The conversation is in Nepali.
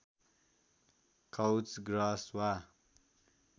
काउच ग्रास वा